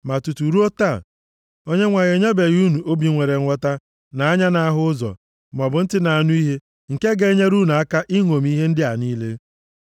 Ma tutu ruo taa, Onyenwe anyị enyebeghị unu obi nwere nghọta, na anya na-ahụ ụzọ, maọbụ ntị na-anụ ihe, nke ga-enyere unu aka ịṅomi ihe ndị a niile.